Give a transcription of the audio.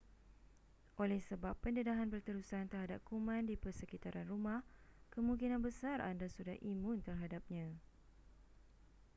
oleh sebab pendedahan berterusan terhadap kuman di persekitaran rumah kemungkinan besar anda sudah imun terhadapnya